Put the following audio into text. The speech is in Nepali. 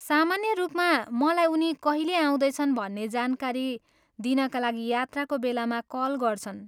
सामान्य रूपमा मलाई उनी कहिले आउँदैछन् भन्ने जानकारी दिनका लागि यात्राको बेलामा कल गर्छन्।